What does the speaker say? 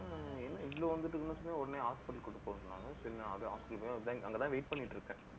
ஆனா, என்ன இவ்வளவு வந்துட்டு, உடனே hospital க்கு கூட்டிட்டு போக சொன்னாங்க அங்கதான் wait பண்ணிட்டு இருக்கேன்